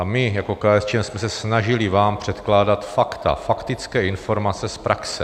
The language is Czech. A my jako KSČM jsme se snažili vám předkládat fakta, faktické informace z praxe.